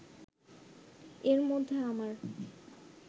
এর মধ্যে আমার